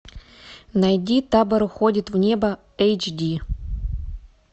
найди табор уходит в небо эйч ди